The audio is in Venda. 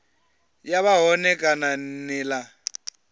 ya vha hone kana nila